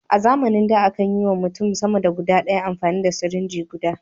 A zamanin da a kan yi wa mutum sama da ɗaya amfani da sirinji guda.